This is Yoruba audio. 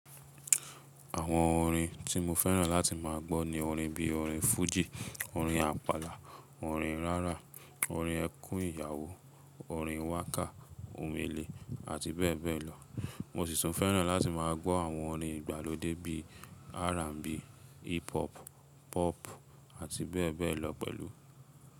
Àwọn orin tí mo fẹ́ràn láti máa gbọ́ ni orin bí i orin fújì, orin àpàlà, orin rárá, orin ẹkún ìyàwó, orin wákà, òmele àti bẹ́ẹ̀ bẹ́ẹ̀ lọ. Mo sì tún fẹ́ràn láti máa gbọ́ àwọn orin ìgbàlódé bí i R&B, hip hop, pop àti bẹ́ẹ̀ bẹ́ẹ̀ lọ pẹ̀lú.